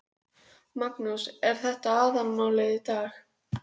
Hvernig er hefðbundinn dagur hjá þér sem þjálfari?